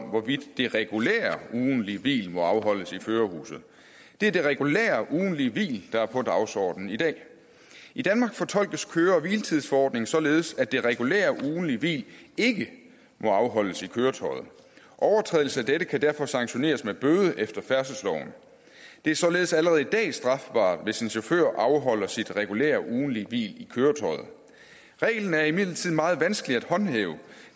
om hvorvidt de regulære ugentlige hvil må afholdes i førerhuset det er det regulære ugentlige hvil der er på dagsordenen i dag i danmark fortolkes køre og hviletidsforordningen således at det regulære ugentlige hvil ikke må afholdes i køretøjet overtrædelse af dette kan derfor sanktioneres med bøde efter færdselsloven det er således allerede i dag strafbart hvis en chauffør afholder sit regulære ugentlige hvil i køretøjet reglen er imidlertid meget vanskelig at håndhæve